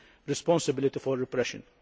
responsibility for repression.